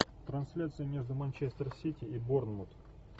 трансляция между манчестер сити и борнмут